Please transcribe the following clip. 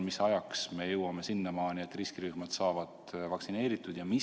Mis ajaks me jõuame sinnamaani, et riskirühmad saavad vaktsineeritud?